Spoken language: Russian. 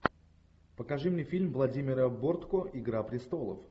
покажи мне фильм владимира бортко игра престолов